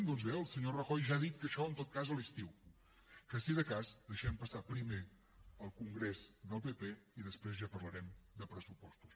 doncs bé el senyor rajoy ja ha dit que això en tot cas a l’estiu que si de cas deixem passar primer el congrés del pp i després ja parlarem de pressupostos